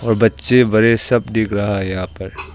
और बच्चे बड़े सब दिख रहा है यहां पर।